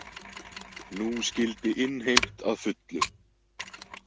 Nú skyldi innheimt að fullu.